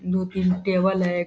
दो तीन टेबल है।